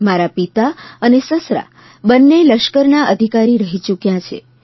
મારા પિતા અને સસરા બંને લશ્કરના અધિકારી રહી ચૂક્યા છે